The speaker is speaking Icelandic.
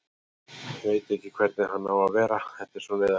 Veit ekki hvernig hann á að vera, þetta er svo neyðarlegt.